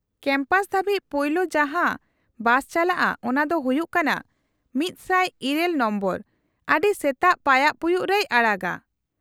-Campus ᱫᱷᱟᱹᱵᱤᱡ ᱯᱳᱭᱞᱳ ᱡᱟᱦᱟᱸ ᱵᱟᱥᱪᱟᱞᱟᱜᱼᱟ ᱚᱱᱟ ᱫᱚ ᱦᱩᱭᱩᱜ ᱠᱟᱱᱟ ᱑᱐᱘ ᱱᱚᱢᱵᱚᱨ, ᱟᱹᱰᱤ ᱥᱮᱛᱟᱜ ᱯᱟᱭᱟᱜ ᱯᱩᱭᱩᱜ ᱨᱮᱭ ᱟᱲᱟᱜᱟ ᱾